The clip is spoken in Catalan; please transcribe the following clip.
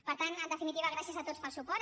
per tant en definitiva gràcies a tots pel suport